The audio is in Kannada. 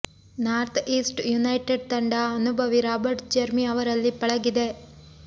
ನಾರ್ತ್ ಈಸ್ಟ್ ಯುನೈಟೆಡ್ ತಂಡ ಅನುಭವಿ ರಾಬರ್ಟ್ ಜೆರ್ಮಿ ಅವರಲ್ಲಿ ಪಳಗಿದೆ